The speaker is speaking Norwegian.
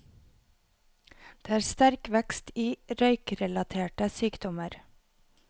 Det er sterk vekst i røykerelaterte sykdommer.